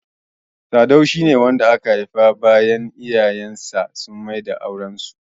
Sadau shi ne wanda aka haifa bayan iyayen sa sun maida auren su.